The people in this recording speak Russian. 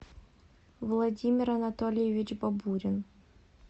владимир анатольевич бабурин